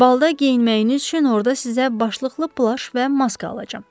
Balda geyinməyiniz üçün orda sizə başlıqlı plaş və maska alacam.